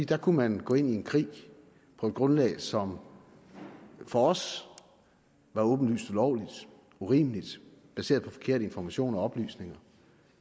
der kunne man gå ind i en krig på et grundlag som for os var åbenlyst ulovligt urimeligt baseret på forkerte informationer og oplysninger